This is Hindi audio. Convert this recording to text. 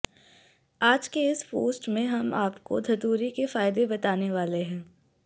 आज के इस पोस्ट में हम आपको धतूरे के फायदे बताने वाले हैं